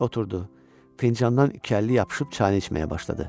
Oturdu, fincandan əlli yapışıb çayını içməyə başladı.